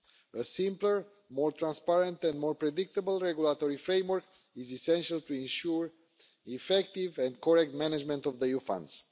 A simpler, more transparent and more predictable regulatory framework is essential to ensure the effective and correct management of EU funds.